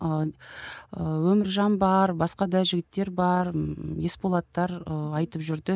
ыыы өміржан бар басқа да жігіттер бар ммм есболаттар ы айтып жүрді